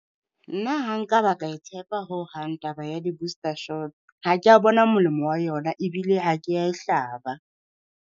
Nna ha nka ba ka e tshepa ho hang taba ya di-booster shot. Ha kea bona molemo wa yona ebile ha kea e hlaba.